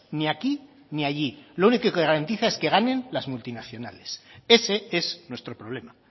ni aquí ni allí lo único que garantiza es que ganen las multinacionales ese es nuestro problema